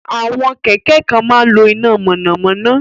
Àwọn kẹ̀kẹ́ kan máa ń lo iná mọ̀nàmọ́ná